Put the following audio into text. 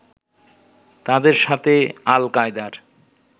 তাদের সাথে আল কায়দার